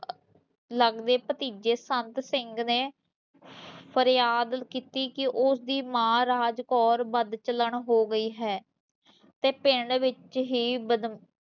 ਲੱਗਦੇ ਭਤੀਜੇ ਸੰਦ ਸਿੰਘ ਨੇ ਫਰਯਾਦ ਕੀਤੀ ਕਿ ਉਸਦੀ ਮਾਂ ਰਾਜ ਕੌਰ ਬਦਚਲਣ ਹੋ ਗਈ ਹੈ ਤੇ ਪਿੰਡ ਵਿੱਚ ਹੀਂ ਬਦ